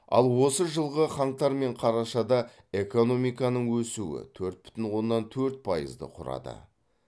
ал осы жылғы қаңтар мен қарашада экономиканың өсуі төрт бүтін оннан төрт пайызды құрады